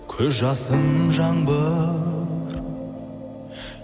көз жасың жаңбыр